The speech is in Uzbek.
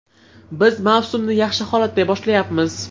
Biz mavsumni yaxshi holatda boshlayapmiz.